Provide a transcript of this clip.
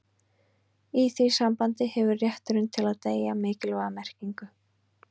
í því sambandi hefur rétturinn til að deyja mikilvæga merkingu